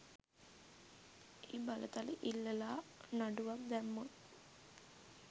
ඒ බලතල ඉල්ලලා නඩුවක් දැම්මොත්